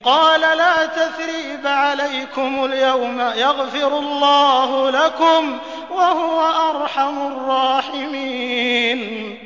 قَالَ لَا تَثْرِيبَ عَلَيْكُمُ الْيَوْمَ ۖ يَغْفِرُ اللَّهُ لَكُمْ ۖ وَهُوَ أَرْحَمُ الرَّاحِمِينَ